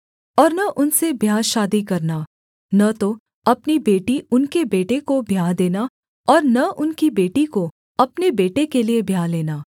और न उनसे ब्याह शादी करना न तो अपनी बेटी उनके बेटे को ब्याह देना और न उनकी बेटी को अपने बेटे के लिये ब्याह लेना